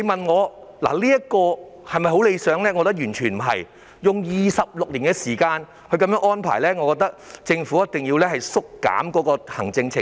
我覺得完全不理想，因為須用上26年時間來安排，政府一定要精簡行政程序。